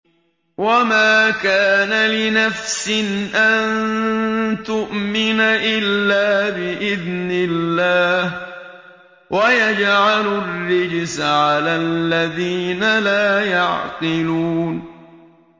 وَمَا كَانَ لِنَفْسٍ أَن تُؤْمِنَ إِلَّا بِإِذْنِ اللَّهِ ۚ وَيَجْعَلُ الرِّجْسَ عَلَى الَّذِينَ لَا يَعْقِلُونَ